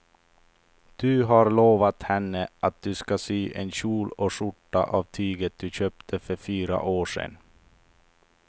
Du har lovat henne att du ska sy en kjol och skjorta av tyget du köpte för fyra år sedan.